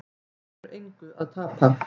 Það hefur engu að tapa